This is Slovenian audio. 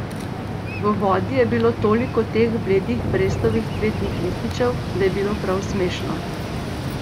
V vodi je bilo toliko teh bledih brestovih cvetnih lističev, da je bilo prav smešno.